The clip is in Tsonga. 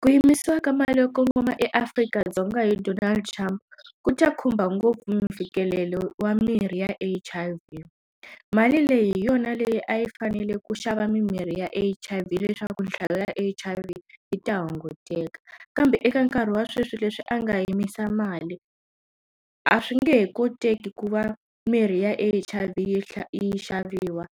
Ku yimisiwa ka mali yo kongoma eAfrika-Dzonga hi Donald Trump ku ta khumba ngopfu mfikelelo wa mirhi ya H_I_V mali leyi hi yona leyi a yi fanele ku xava mimirhi ya H_I_V leswaku nhlayo ya H_I_V yi ta hunguteka kambe eka nkarhi wa sweswi leswi a nga yimisa mali a swi nge he koteki ku va mirhi ya H_I_V yi yi xaviwa